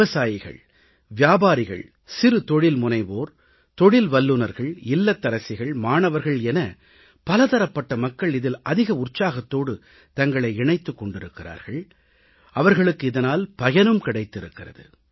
விவசாயிகள் வியாபாரிகள் சிறு தொழில்முனைவோர் தொழில் வல்லுநர்கள் இல்லத்தரசிகள் மாணவர்கள் என பலதரப்பட்ட மக்கள் இதில் அதிக உற்சாகத்தோடு தங்களை இணைத்துக் கொண்டிருக்கிறார்கள் அவர்களுக்கு இதனால் பயனும் கிடைத்திருக்கிறது